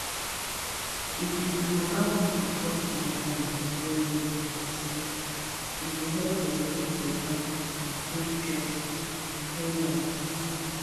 if we dey allow people talk their mind wellwell for school e go help dem make beta and safe choice no lie